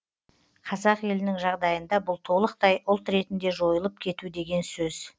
қазақ елінің жағдайында бұл толықтай ұлт ретінде жойылып кету деген сөз